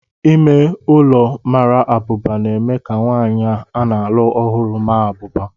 Ime ụlọ mara abụba na-eme ka nwanyị a na-alụ ọhụrụ maa abụba.